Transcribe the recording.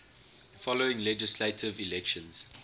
following legislative elections